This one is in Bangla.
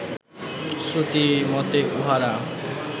শ্রুতি মতে উঁহারা